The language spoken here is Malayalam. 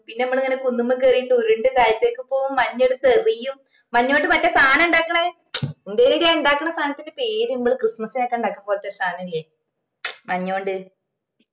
പിന്നെ മ്മളിങ്ങനെ കുന്നുമ്മക്കേറീട്ട് ഉരുണ്ടു താഴത്തേക് പോവും മഞ്ഞെടുത്ത് എറിയും മഞ്ഞുകൊണ്ട് മറ്റേ സാനം ഇണ്ടാക്കണ മച് എന്തെടി എ ഇണ്ടാകണേ സാധനത്തിന്റെ പേര് മ്മള് ക്രിസ്മസ്സിനൊക്കെ ഇണ്ടാക്കണേ പോലത്തെ ഒരു സാധനോല്ലേ മഞ്ഞോണ്ട്